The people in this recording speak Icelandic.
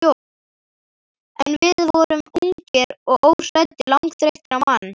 En við vorum ungir og óhræddir, langþreyttir á mann